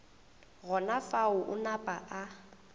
gona fao a napa a